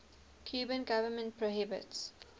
cuban government prohibits